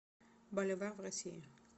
боливар в россии